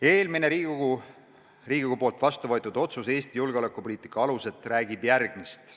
Eelmine Riigikogus heaks kiidetud otsus "Eesti julgeolekupoliitika alused" räägib järgmist.